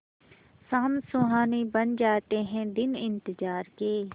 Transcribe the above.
शाम सुहानी बन जाते हैं दिन इंतजार के